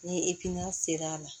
Ni sera a la